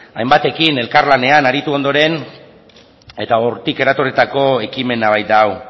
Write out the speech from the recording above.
hainbatekin elkar lanean aritu ondoren eta hortik eratorritako ekimena baita hau